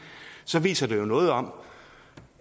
så viser det jo noget om